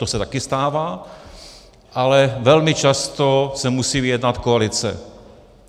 To se také stává, ale velmi často se musí vyjednat koalice.